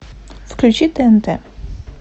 включи тнт